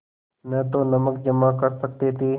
न तो नमक जमा कर सकते थे